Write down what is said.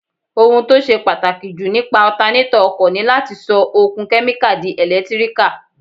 Ohun tó ṣe pàtàkì jù nípa ọtanétọ̀ ọkọ̀ ni láti sọ okun kẹ́míkà di ẹ̀lẹ́tíríkà